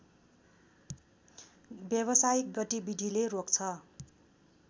व्यवसायिक गतिविधिले रोक्छ